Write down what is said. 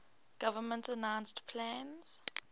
government announced plans